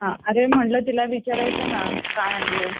हा अरे म्हणलं तिला विचारायचं ना काय आणलय.